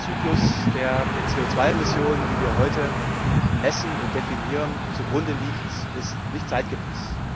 Der Testzyklus, der den CO 2 Emissionen, die wir heute messen und definieren, zugrunde liegt, ist nicht zeitgemäß.